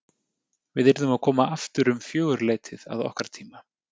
Við yrðum að koma aftur um fjögurleytið að okkar tíma.